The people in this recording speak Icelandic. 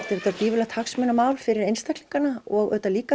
auðvitað gífurlegt hagsmunamál fyrir einstaklingana og auðvitað líka